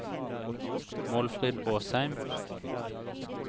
Målfrid Åsheim